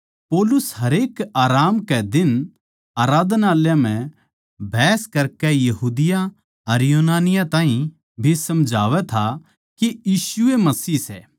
पौलुस हरेक आराम कै दिन आराधनालय म्ह बहस करकै यहूदियाँ अर यूनानियाँ ताहीं भी समझावै था के यीशु ए मसीह सै